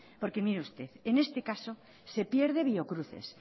porque mire usted en este caso se pierde biocruces